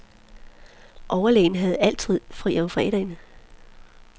Overlægen havde altid fri om fredagen.